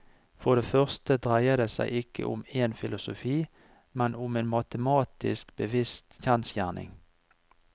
For det første dreier det seg ikke om en filosofi, men om en matematisk bevist kjensgjerning.